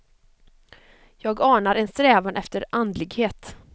Jag anar en strävan efter andlighet.